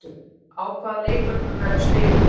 Á hvaða leikvöngum verður spilað?